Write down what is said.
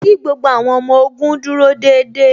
Kí gbogbo àwọn ọmọ ogun dúró déédéé